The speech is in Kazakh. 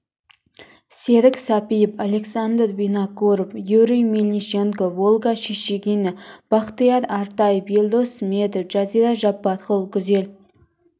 серік сәпиев александр винокуров юрий мельниченков ольга шишигина бақтияр артаев елдос сметов жазира жаппарқұл гүзел